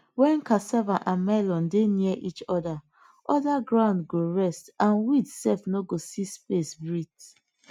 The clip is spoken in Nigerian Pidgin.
when cassava and melon dey near each other ground go rest and weed self nor go see space breath